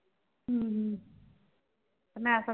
ਹਮ ਮੈਂ ਤਾਂ।